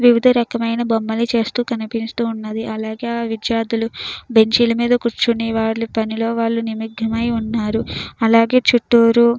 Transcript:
వివిధ రకమైన బొమ్మలను చేస్తూ కనిపిస్తున్నది. అలాగే ఆ విద్యార్థులు బెంచి లు మీద కూర్చొని వాళ్ల పనిలోని వాళ్ళు నిమగ్నమై ఉన్నారు. అలాగే చుటూరు --